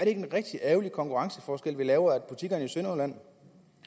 en rigtig ærgerlig konkurrenceforskel vi laver så butikkerne i sønderjylland